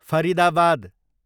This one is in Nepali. फरिदाबाद